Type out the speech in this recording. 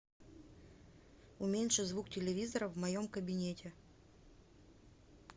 уменьши звук телевизора в моем кабинете